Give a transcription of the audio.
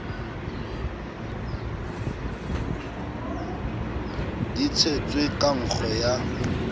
di tshetswe ka nkgo ya